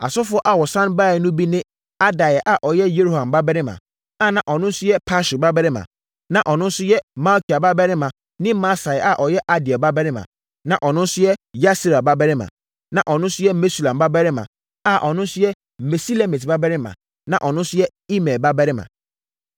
Asɔfoɔ a wɔsane baeɛ no bi ne Adaia a ɔyɛ Yeroham babarima, a na ɔno nso yɛ Pashur babarima, na ɔno nso yɛ Malkia babarima ne Masai a ɔyɛ Adiel babarima, na ɔno nso yɛ Yahsera babarima, na ɔno nso yɛ Mesulam babarima, a ɔno nso yɛ Mesilemit babarima, na ɔno nso yɛ Imer babarima.